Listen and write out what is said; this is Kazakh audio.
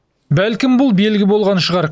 бәлкім бұл белгі болған шығар